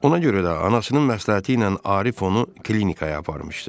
Ona görə də anasının məsləhəti ilə Arif onu klinikaya aparmışdı.